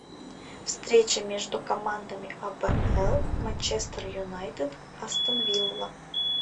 встреча между командами апл манчестер юнайтед астон вилла